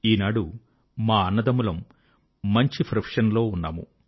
ఈనాడు మా అన్నదమ్ములం మంచి ప్రొఫెషన్ లలో ఉన్నాము